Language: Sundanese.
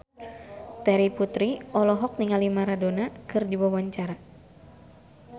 Terry Putri olohok ningali Maradona keur diwawancara